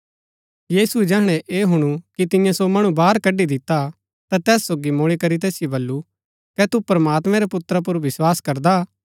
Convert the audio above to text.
यीशुऐ जैहणै ऐह हुणु कि तियें सो मणु बाहर कड्ड़ी दिता ता तैस सोगी मूल्ळी करी तैसिओ बल्लू कै तू प्रमात्मैं रै पुत्रा पुर विस्वास करदा